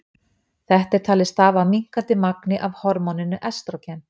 Þetta er talið stafa af minnkandi magni af hormóninu estrógen.